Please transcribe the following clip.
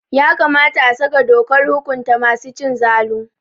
Ya kamata a saka dokar hukunta masu cin zalu.